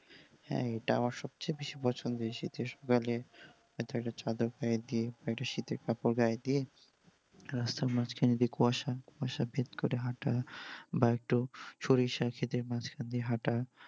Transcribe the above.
হ্যাঁ এটা আমার সবচেয়ে বেশি পছন্দের শীতের বেলা হয়তো একটা চাদর গাঁয় দিয়ে বা একটা শীতের কাপড় গাঁয় দিয়ে রাস্তার মাঝখান যে কুয়াশা, কুয়াশা ভেদ করে হাঁটা বা একটু সরিষা ক্ষেতের মাঝখান দিয়ে হাঁটা।